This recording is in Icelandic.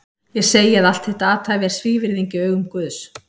Ég segi að allt þitt athæfi er svívirðing í augum Guðs!